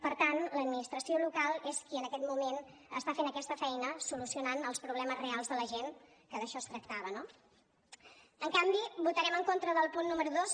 per tant l’administració local és qui en aquest moment està fent aquesta feina solucionant els problemes reals de la gent que d’això es tractava no en canvi votarem en contra del punt número dos